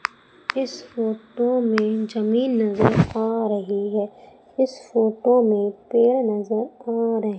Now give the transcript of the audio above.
इस फोटो में जमीन नजर आ रही है इस फोटो में पेड़ नजर आ रहे--